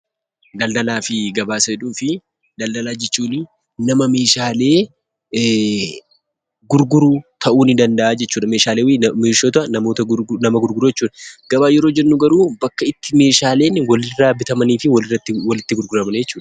Daldalaa fi gabaa isa jedhuufii, daldalaa jechuun nama meeshaalee gurguru ta'uu nii danda'a jechuu dha. Meeshota nama gurguru jechuu dha. Gabaa yeroo jennu garuu bakka itti meeshaaleen walirraa bitamanii fi walitti gurguraman jechuu dha.